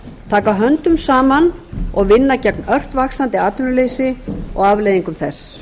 taka höndum saman og vinna gegn ört vaxandi atvinnuleysi og afleiðingum þess